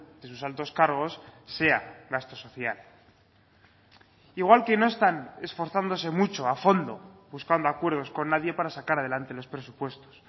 de sus altos cargos sea gasto social igual que no están esforzándose mucho a fondo buscando acuerdos con nadie para sacar adelante los presupuestos